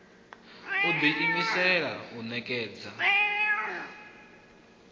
u ḓi imisela u ṋekedza